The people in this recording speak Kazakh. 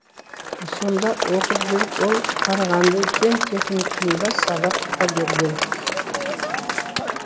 сонда оқып жүріп ол қарағанды кен техникумында сабақ та берген